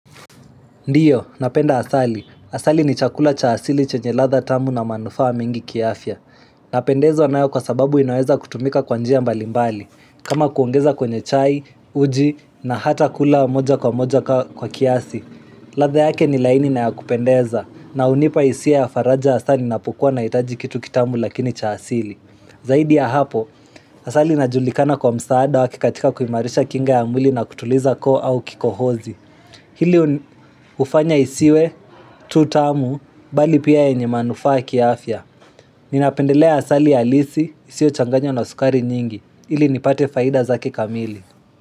Ndiyo, napenda asali. Asali ni chakula cha asili chenye ladhaa tamu na manufaa wa mingi kiafya. Napendezwa nayo kwa sababu inaweza kutumika kwavnjia mbalimbali. Kama kuongeza kwenye chai, uji, na hata kula wa moja kwa moja kwa kiasi. Ladhaa yake ni laini na ya kupendeza. Na unipa hisia ya faraja asa ninapokua naitaji kitu kitamu lakini cha asili. Zaidi ya hapo, asali najulikana kwa msaada wake katika kuimarisha kinga ya mwili na kutuliza koo au kikohozi. Hili ufanya isiwe, tutamu, bali pia yenye manufa kiafya. Ninapendelea asali ya alisi, isio changanya na sukari nyingi. Hili nipate faida zake kamili.